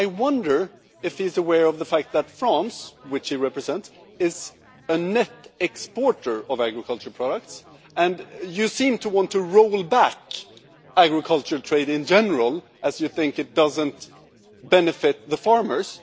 I wonder if you are aware of the fact that France, which you represent, is a net exporter of agricultural products, and yet you seem to want to roll back agricultural trade in general as you think it doesn't benefit the farmers.